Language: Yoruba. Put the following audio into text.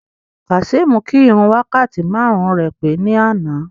Kazeem kí ìrun wákàtí márùn-ún rẹ̀ pé ní àná.